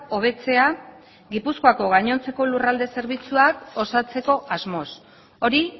hobetzea gipuzkoako gainontzeko lurralde zerbitzuak osatzeko asmoz hori